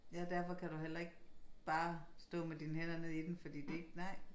Ja derfor kan du heller ikke bare stå med dine hænder nede i den fordi det ikke nej